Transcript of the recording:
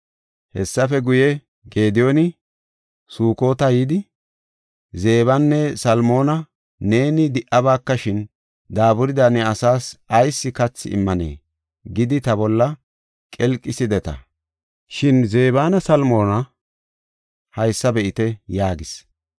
Hessafe guye, Gediyooni Sukota yidi, “ ‘Zebanne Salmoona neeni di77abakashin, daaburida ne asaas ayis kathi immanee?’ gidi ta bolla qelqisideta; shin Zebanne Salmoona haysa be7ite” yaagis.